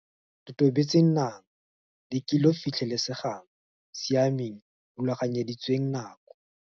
Totobetseng Nang le kelo Fitlhelesegang Siameng Rulaganyeditsweng nako.